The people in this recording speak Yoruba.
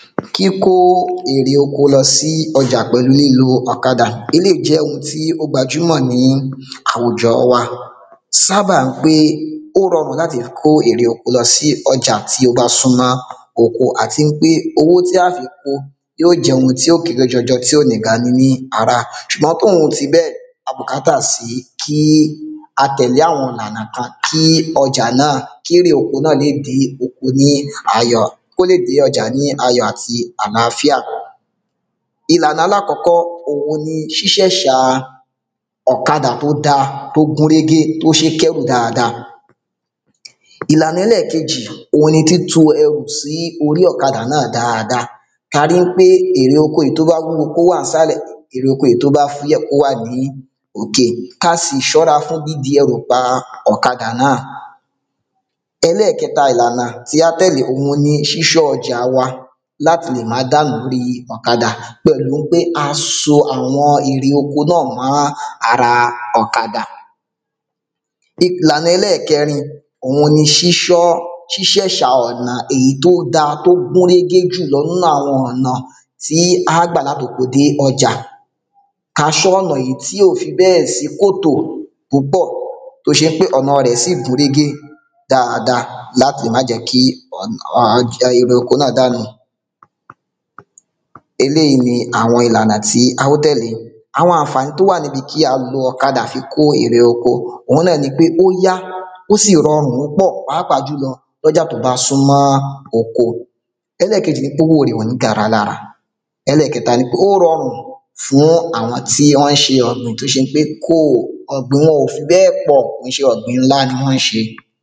Kíkó ère oko lọ sí ọjà pẹ̀lú lílo ọ̀kadà eléyí gbajúmọ̀ ní àwùjọ wa sábà ń pe ó rọrùn láti kó ere oko lọ sí ọjà tí ó bá súmọ́ oko à ti ń pe owó tí a fi ko yí ó jẹ́ ohun tí ó kélé jọjọ ti ò ní ga ni ní ara ṣùgbọ́n tóhún ti bẹ́ẹ̀ a bùkátà sí kí a tẹ̀lé àwọn ìlànà kan kí ọjà náà kére oko náà le dé oko ni ayọ̀ kólè dé ọjà ní ayọ̀ àti aláfíà ìlànà alákọ́kọ òun ni ṣíṣẹ́ṣà ọ̀kàdà tó da tó gúnrégé tó ṣé kẹ́rù dada ìlànà ẹlẹ́kejì òun ni títo ẹrù sí orí ọ̀kàdà náà dada ka rí ń pe ère oko èyí tó bá wúwo kó wà ń sálẹ̀ ère oko èyí tó bá fúyẹ́ kó wà ní òkè ka sì ṣọ́ra fún dídí ẹrù pa ọ̀kadà náà ẹlẹ́kẹta ìlànà tí á tẹ̀lé òun ni ṣíṣọ́ ọjà wa láti lè má dànù lóri ọ̀kadà pẹ̀lú ń pe a so àwọn ère oko náà mọ́ ara ọ̀kadà ìlànà ẹlẹ́kẹrin òun ni ṣíṣẹ́ṣà ọ̀nà èyí tó da tó gúnrégé jùlo ń nu àwọn ọ̀nà tí á gbà látoko dé ọjà ka ṣọ́ ọ̀nà èyí tí ò fi bẹ́ẹ̀ sí kòtò púpọ̀ tó ṣe ń pé ọ̀nà sì gúnrégé dada láti má jẹ́ kí ère oko náà dànù eléyí ni àwọn ìlànà tí a ó tẹ̀lé àwọn àǹfàní tó wà níbi kí a gun ọ̀kadà fi ko ère oko òun náà ni pé ó yá ó sì rọrun púpọ̀ pàápàá jùlọ fún ọjà tó bá súmọ́ oko ẹlẹ́kejì ni pe owó rẹ̀ ò ní gara lára ẹlẹ́kẹta nípé ó rọrùn fún àwọn tí ọ́ ń ṣe ọ̀gbìn tó ṣe ń pé ọ̀gbìn wọn ò fi bẹ́ẹ̀ pọ̀ ń ṣe ọ̀gbìn ńá ní wọ́n ṣe